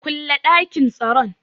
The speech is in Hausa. Kule dakin tsaron.